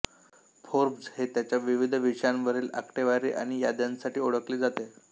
Forbes हे त्याच्या विविध विषयांवरील आकडेवारी आणि याद्यांसाठी ओळखले जाते